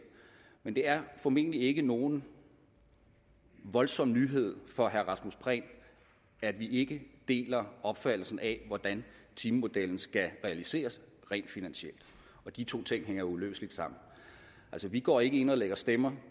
men det er formentlig ikke nogen voldsom nyhed for herre rasmus prehn at vi ikke deler opfattelsen af hvordan timemodellen skal realiseres rent finansielt og de to ting hænger uløseligt sammen vi går ikke ind og lægger stemmer